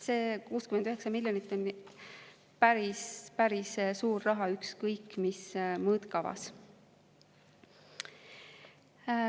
See 69 miljonit on päris suur raha ükskõik mis mõõtkavas.